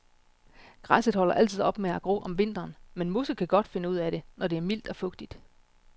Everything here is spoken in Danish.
Græsset holder altid op med at gro om vinteren, men mosset kan godt finde ud af det, når det er mildt og fugtigt.